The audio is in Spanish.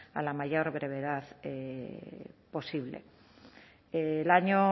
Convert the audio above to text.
a la mayor brevedad posible el año